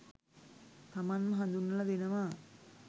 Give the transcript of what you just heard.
තමන්ව හඳුන්නල දෙනවා